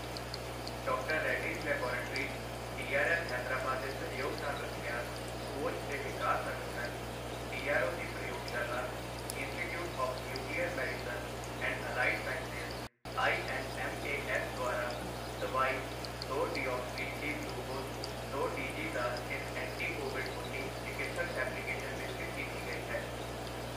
Doctor Reddy's laboratories DRL, Hyderabad ਦੇ ਸਹਿਯੋਗ ਨਾਲ ਰੱਖਿਆ ਖੋਜ ਤੇ ਵਿਕਾਸ ਸੰਗਠਨ, ਡੀਆਰਡੀਓ ਦੀ ਪ੍ਰਯੋਗਸ਼ਾਲਾ institute of nuclear medicine and allied sciences INMAS ਦੁਆਰਾ ਦਵਾਈ ਦੋ ਡਿਔਕਸੀ ਡੀ ਗਲੂਕੋਜ ਦੋ ਡੀਜੀ ਦਾ ਇੱਕ ਐਂਟੀ ਕੋਵਿਡ ਉੱਨੀ ਚਿਕਿਤਸਕ ਐਪਲੀਕੇਸ਼ਨ ਵਿਕਸਿਤ ਕੀਤੀ ਗਈ ਹੈ।